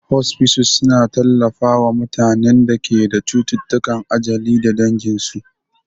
Hospices suna tallafawa mutanen da ke da cututtukan ajali da danginsu.